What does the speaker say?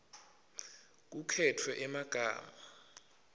kukhetfwe emagama